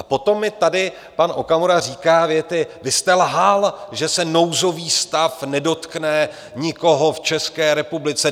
A potom mi tady pan Okamura říká věty: Vy jste lhal, že se nouzový stav nedotkne nikoho v České republice.